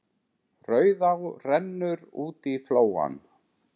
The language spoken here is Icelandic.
Rauðá rennur út í flóann.